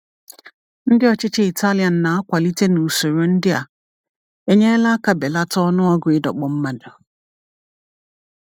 Ndị ọchịchị Italian na-akwalite na usoro ndị a enyela aka belata ọnụọgụ ịdọkpụ mmadụ.